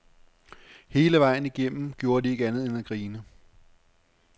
Hele vejen igennem gjorde de ikke andet end at grine.